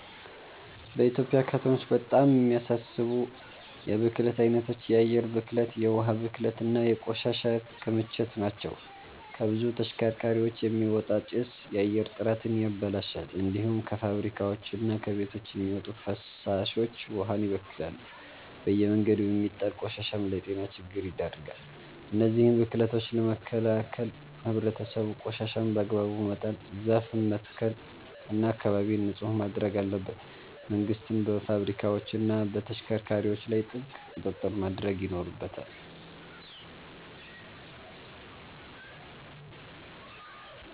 በኢትዮጵያ ከተሞች በጣም የሚያሳስቡ የብክለት አይነቶች የአየር ብክለት፣ የውሃ ብክለት እና የቆሻሻ ክምችት ናቸው። ከብዙ ተሽከርካሪዎች የሚወጣ ጭስ የአየር ጥራትን ያበላሻል። እንዲሁም ከፋብሪካዎችና ከቤቶች የሚወጡ ፍሳሾች ውሃን ይበክላሉ። በየመንገዱ የሚጣል ቆሻሻም ለጤና ችግር ይዳርጋል። እነዚህን ብክለቶች ለመከላከል ህብረተሰቡ ቆሻሻን በአግባቡ መጣል፣ ዛፍ መትከል እና አካባቢን ንጹህ ማድረግ አለበት። መንግስትም በፋብሪካዎችና በተሽከርካሪዎች ላይ ጥብቅ ቁጥጥር ማድረግ ይኖርበታል።